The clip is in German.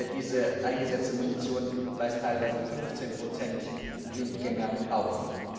Diese eingesetzte Munition weist teilweise 15 Blindgänger auf.